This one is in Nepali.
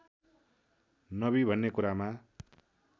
नबी भन्ने कुरामा